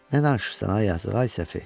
Nə danışırsan ay yazıq, ay Səfi?